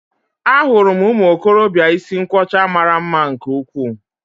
Ahụrụ m ụmụ okorobịa isi nkwọcha mara mma nke ukwuu